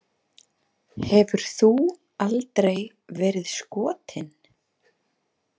Hefur þú aldrei verið skotin?